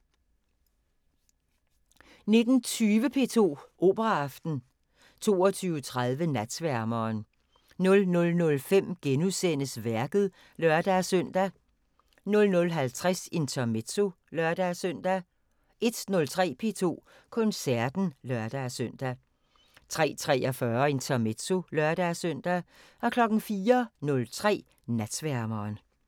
19:20: P2 Operaaften 22:30: Natsværmeren 00:05: Værket *(lør-søn) 00:50: Intermezzo (lør-søn) 01:03: P2 Koncerten (lør-søn) 03:43: Intermezzo (lør-søn) 04:03: Natsværmeren